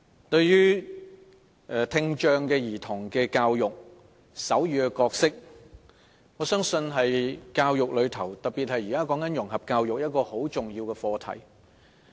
我相信，在聽障兒童教育，特別是現時的融合教育方面，手語是一個非常重要的課題。